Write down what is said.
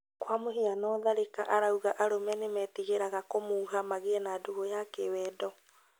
Kwa mũhiano Tharĩka arauga arũme nímetigĩraga kũmuha magĩe na ndũgũ ya kĩwendo